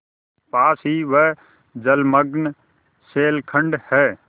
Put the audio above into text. पास ही वह जलमग्न शैलखंड है